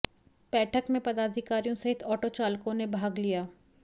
बैठक में पदाधिकारियों सहित आटो चालकों ने भाग लिया